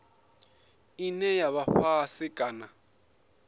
ine ya vha fhasi kana